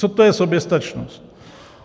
Co to je soběstačnost?